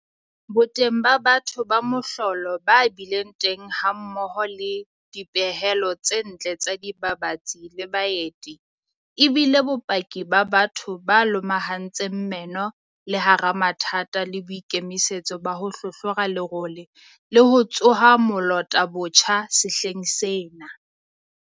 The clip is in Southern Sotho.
Boteng ba batho ba mohlolo ba bileng teng hammoho le dipehelo tse ntle tsa dibabatsi le baeti e bile bopaki ba batho ba lomahantseng meno le hara mathata le boikemisetso ba ho hlohlora lerole le ho tsoha molota botjha sehleng sena.